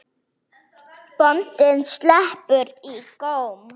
Bóndinn sletti í góm.